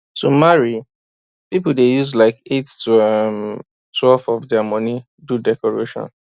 to marry people dey use like 8 to um twelve of dia money do decoration